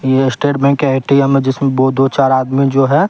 यह state bank के A_ T_ M_ है जिसमें वो दो चार आदमी जो हैं।